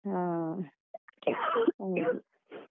ಹಾ .